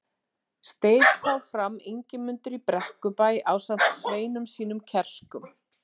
Steig þá fram Ingimundur í Brekkubæ ásamt sveinum sínum kerskum.